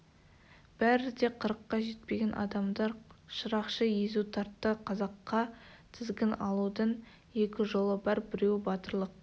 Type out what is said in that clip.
бәрі де қырыққа жетпеген адамдар шырақшы езу тартты қазаққа тізгін алудың екі жолы бар біреуі батырлық